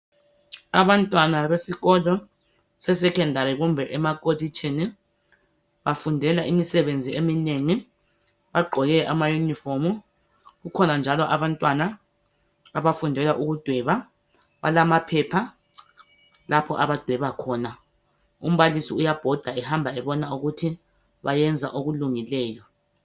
Abantwana besikolo sesecondary kumbe emakolitshini bafundela imisebenzi eminengi, bagqoke amayuniform. Kukhona njalo abantwana abafundela ukudweba balamaphepha lapho abadweba khona. Umbalisi uyabhoda ehamba ebona ukuthi bayenza okulungileyo.